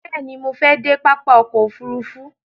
Bẹ̀ẹ̀ni, mo fẹ dé pápá ọkò òfurufú.